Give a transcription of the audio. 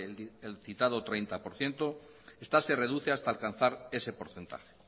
el citado treinta por ciento esta se reduce hasta alcanzar ese porcentaje